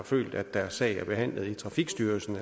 følt at deres sag er blevet behandlet i trafikstyrelsen